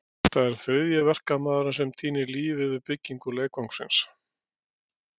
Þetta er þriðji verkamaðurinn sem týnir lífinu við byggingu leikvangsins.